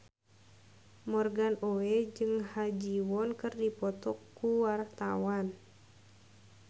Morgan Oey jeung Ha Ji Won keur dipoto ku wartawan